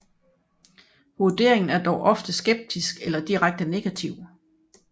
Vurderingen er dog ofte skeptisk eller direkte negativ